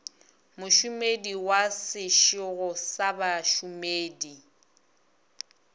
mošomedi wa sešego sa bašomedi